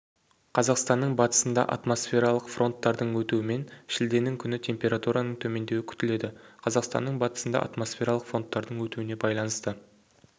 қазақстанның батысында атмосфералық фронттардың өтуімен шілденің күні температураның төмендеуі күтіледі қазақстанның батысында атмосфералық фонттардың өтуіне байланысты